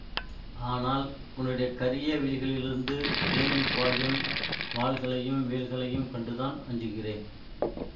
ஆனால் உன்னுடைய கரிய விழிகளிலிருந்து கிளம்பி பாயும் வாள்களையும் வேல்களையும் கண்டுதான் அஞ்சுகிறேன்